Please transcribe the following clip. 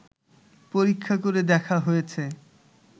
পরীক্ষা করে দেখা হয়েছে